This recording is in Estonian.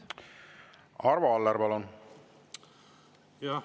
Arvo Aller, palun!